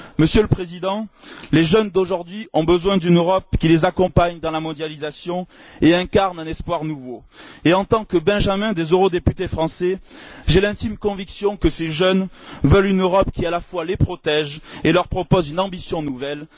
Monsieur le Président, les jeunes d'aujourd'hui ont besoin d'une Europe qui les accompagne dans la mondialisation et qui incarne un espoir nouveau et, en tant que benjamin des eurodéputés français, j'ai l'intime conviction que ces jeunes veulent une Europe qui, à la fois, les protège et leur propose une ambition nouvelle.